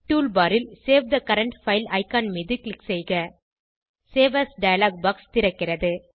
toolbar ல் save the current file icon மீது click செய்க சேவ் ஏஎஸ் டயலாக் பாக்ஸ் திறக்கிறது